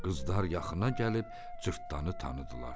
Qızlar yaxına gəlib Cırtdanı tanıdılar.